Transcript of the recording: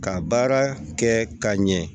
Ka baara kɛ ka ɲɛ